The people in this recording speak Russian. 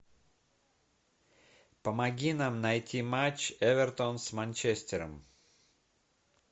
помоги нам найти матч эвертон с манчестером